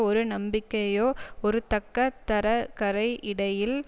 ஒரு நம்பிக்கையோ ஒரு தக்க தரகரை இடையில்